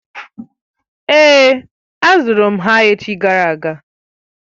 Èé, azụrụ m ha echi gara aga.